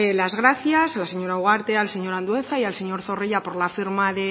las gracias a la señora ugarte al señor andueza y al señor zorrilla por la firma